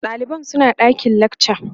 ɗaliban suna ɗakin lakca